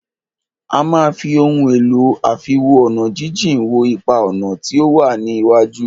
A máà fí ohun èlò àfiwo-ọ̀nàjíjìn wo ipa-ọ̀nà tí o wá ní iwájú.